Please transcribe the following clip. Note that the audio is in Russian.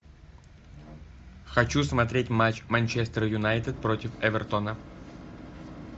хочу смотреть матч манчестер юнайтед против эвертона